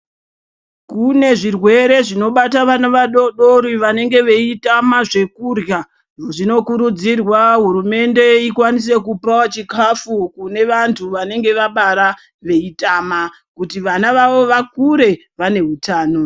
Kune zvirwere zvinobata aana vadoodori ngekutame zvekurya. Zvinokurudzirwa kuti hurumende ikwanise kupawo chikhafu kune vantu vanenge vabara veitama kuti vana vavo vakure vaine utano.